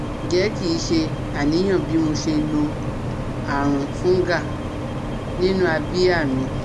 Nje ki se aniyan bi mo se no arun fungal ninu abia mi?